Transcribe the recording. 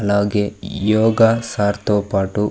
అలాగే యోగా సర్ తో పాటు.